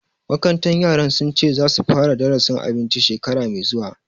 Makarantar yaran sun ce za su fara darasin abinci shekara mai zuwa